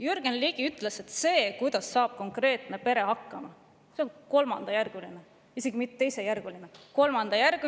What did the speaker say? Jürgen Ligi ütles, et see, kuidas saab konkreetne pere hakkama, on kolmandajärguline – isegi mitte teisejärguline!